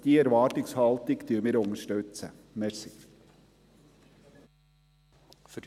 Diese Erwartungshaltung unterstützen wird.